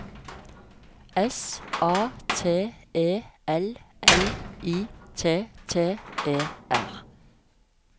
S A T E L L I T T E R